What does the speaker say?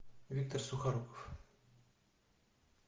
виктор сухоруков